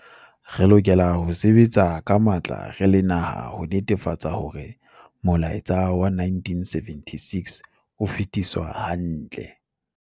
Re lokela ho sebetsa ka matla re le naha ho netefatsa hore molaetsa wa 1976 o fetiswa hantle.